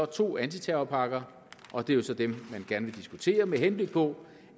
to antiterrorpakker og det er så dem man gerne vil diskutere med henblik på